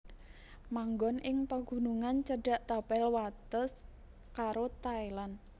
Manggon ing pagunungan cedhak tapel wates karo Thailand